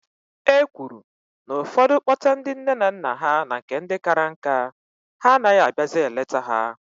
E kwuru na ụfọdụ kpọta nne na nna ha na nke ndị kara nka, ha anaghị abịazị eleta ha.